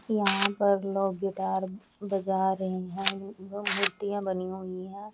यहाँ लोग पर गिटार बजा रहे हैं वो मूर्तियाँ बनी हुई हैं।